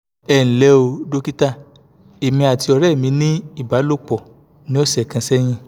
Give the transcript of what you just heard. enle o dókítà èmi àti ọ̀rẹ́ mi ní ìbálòpọ̀ ní ọ̀sẹ̀ kan sẹ́yìn